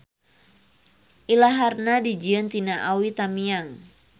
Ilaharna dijieun tina awi tamiang.